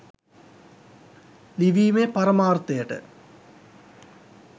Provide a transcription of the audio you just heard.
ලිවීමේ පරමාර්තයට